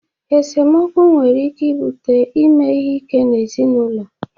Esemokwu nwere ike ibute ime ihe ike n'ezinụlọ.